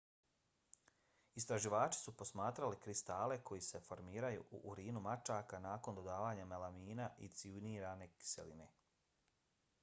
istraživači su posmatrali kristale koji se formiraju u urinu mačaka nakon dodavanja melamina i cijanurne kiseline